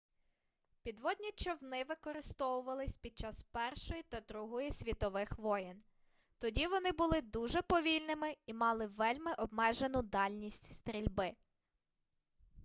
підводні човни використовувались під час першої та другої світових воєн тоді вони були дуже повільними і мали вельми обмежену дальність стрільби